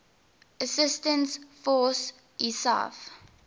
assistance force isaf